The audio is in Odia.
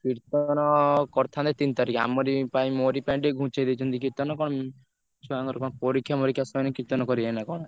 କୀର୍ତ୍ତନ କରିଥାନ୍ତେ ତିନ ତାରିଖ ଆମରି ପାଇଁ ମୋରି ପାଇଁ ଟିକେ ଘୁଞ୍ଚେଇ ଦେଇଛନ୍ତି।